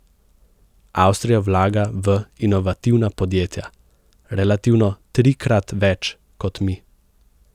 Avstrija vlaga v inovativna podjetja relativno trikrat več kot mi.